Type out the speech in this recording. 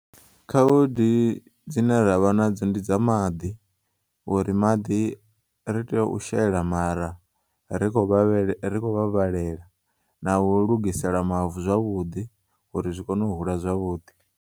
Khaudi dzine ravha nadzo ndidza maḓi, uri maḓi ri tea u shela mara ri kho vhavhele ri kho u vhavhelela na u lugisela mavu zwavhuḓi uri zwikone u hula zwavhuḓi.